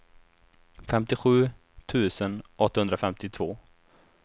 femtiosju tusen åttahundrafemtiotvå